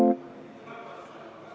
Nüüd, mida siis edasi teha?